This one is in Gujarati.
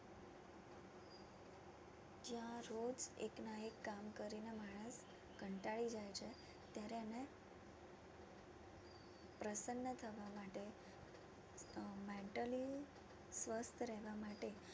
જ્યાં રોજ એકના એક કામ કરીને માણસ કંટાળી જાય છે ત્યારે એને પ્રસન્ન થવા માટે આહ mentally સ્વસ્થ રહેવા માટે